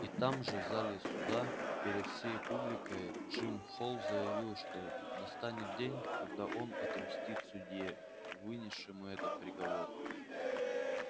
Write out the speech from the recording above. и там же в зале суда перед всей публикой джим холл заявил что настанет день когда он отомстит судье вынесшему этот приговор